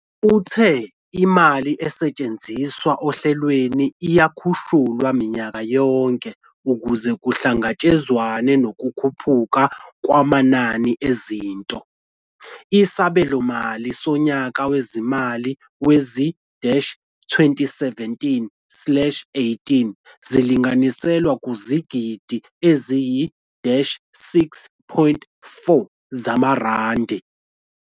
Uthe imali esetshenziswa ohlelweni iyakhushulwa minyaka yonke ukuze kuhlangatshezwane nokukhuphuka kwamanani ezinto, isabelomali sonyaka wezimali wezi-2017 slash 18 silinganiselwa kuzigidigidi eziyisi-6.4 zamarandi.